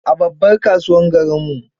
A babbar kasuwar garinmu.